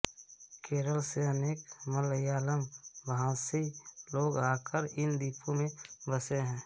केरल से अनेक मलयालम भाषी लोग आकर इन द्वीपों में बसे हैं